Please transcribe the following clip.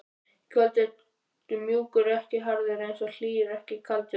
Í kvöld ertu mjúkur, ekki harður, aðeins hlýr, ekkert kaldur.